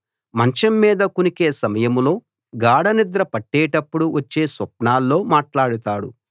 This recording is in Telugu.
మంచం మీద కునికే సమయంలో గాఢనిద్ర పట్టేటప్పుడు వచ్చే స్వప్నాల్లో మాట్లాడుతాడు